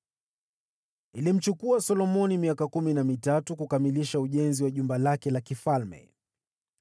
Ilimchukua Solomoni miaka kumi na mitatu kukamilisha ujenzi wa Jumba lake la kifalme.